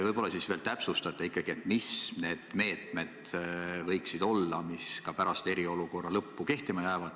Võib-olla täpsustate ikkagi, mis need meetmed võiksid olla, mis ka pärast eriolukorra lõppu kehtima jäävad?